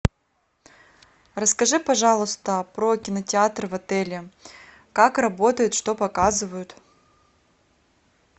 расскажи пожалуйста про кинотеатры в отеле как работают что показывают